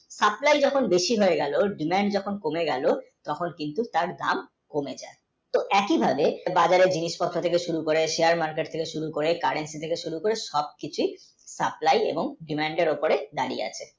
supply যখন বেশি হয়ে গেল demand যখন কমে গেল তখন তার দাম কমে গেল একি ভাবে বাজারের জিনিসপত্র থেকে শুরু করে share, market থেকে শুরু করে current থেকে শুরু করে সব কিছুই supply এবং demand এর উপরে দাড়িয়ে আছে